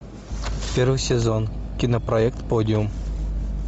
первый сезон кинопроект подиум